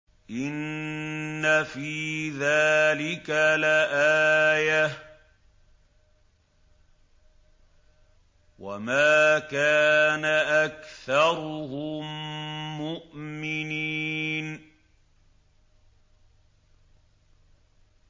إِنَّ فِي ذَٰلِكَ لَآيَةً ۖ وَمَا كَانَ أَكْثَرُهُم مُّؤْمِنِينَ